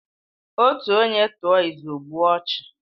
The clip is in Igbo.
Otu onye tụọ ịzụ, ogbuo ọchụ